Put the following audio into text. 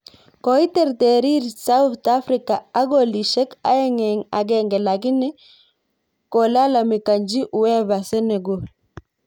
Koiterterir sauthafrika ak kolisyek aeng eng agenge lakini kolalamikanchi uefa Senegal